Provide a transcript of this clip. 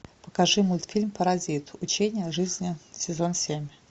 покажи мультфильм паразит учение о жизни сезон семь